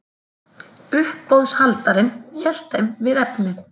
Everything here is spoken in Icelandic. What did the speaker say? Uppboðshaldarinn hélt þeim við efnið.